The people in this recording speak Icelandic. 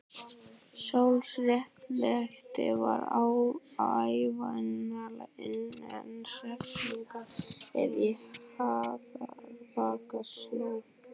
Sjálfsréttlætingin var ævinlega innan seilingar ef í harðbakka sló.